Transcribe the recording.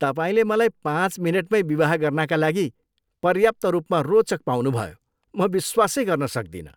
तपाईँले मलाई पाँच मिनेटमै विवाह गर्नाका लागि पर्याप्त रूपमा रोचक पाउनुभयो, म विश्वासै गर्न सक्दिनँ।